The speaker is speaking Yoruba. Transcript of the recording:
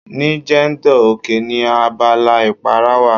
Ní Jendol, oke ni abala ìpara wà.